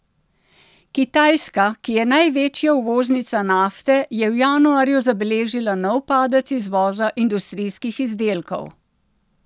Kitajska, ki je največja uvoznica nafte, je v januarju zabeležila nov padec izvoza industrijskih izdelkov.